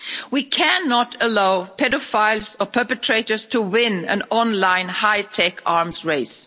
We cannot allow paedophiles or perpetrators to win an online high tech arms race.